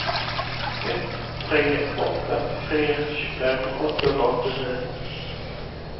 ett tre åtta tre tjugofem åttahundraåttionio